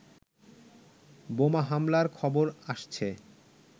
বোমা হামলার খবর আসছে